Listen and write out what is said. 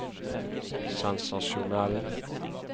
sensasjonell